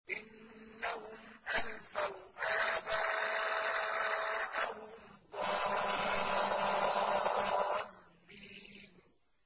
إِنَّهُمْ أَلْفَوْا آبَاءَهُمْ ضَالِّينَ